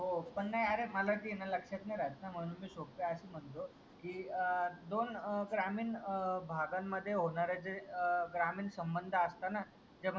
हो पण नाही अरे माला ते लक्षात नाही राहत म्हणून मी सोप्या भाषेत बोलतो की अं दोन अं ग्रामीण भागांमध्ये होणारे अं जे ग्रामीण संबंध असतं ना